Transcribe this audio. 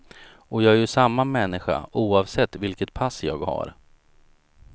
Och jag är ju samma människa, oavsett vilket pass jag har.